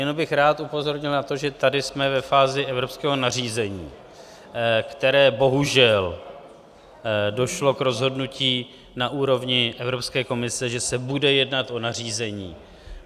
Jenom bych rád upozornil na to, že tady jsme ve fázi evropského nařízení, které bohužel došlo k rozhodnutí na úrovni Evropské komise, že se bude jednat o nařízení.